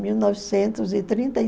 Mil novecentos e trinta e